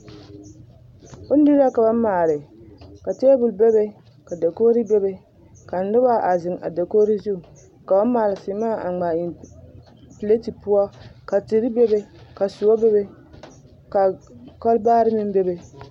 Bondirii la ka ba maale, ka teebol bebe, ka dakogiri bebe, ka noba a zeŋ a dakogiri zu k'o maale seemaa a ŋmaa eŋ pileti poɔ ka tere bebe ka soɔ bebe ka kɔlbaare meŋ bebe.